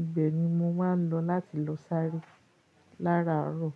Ibẹ̀ ni mo máa ń lọ láti lọ sáré lára àárọ̀